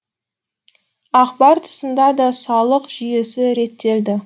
акбар тұсында да салық жүйесі реттелді